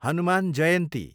Hanuman Jayanti